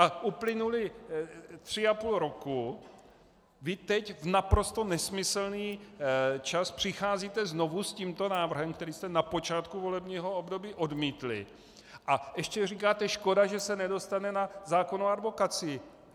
A uplynulo tři a půl roku, vy teď, v naprosto nesmyslný čas, přicházíte znovu s tímto návrhem, který jste na počátku volebního období odmítli, a ještě říkáte škoda, že se nedostane na zákon o advokacii.